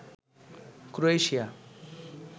Croatia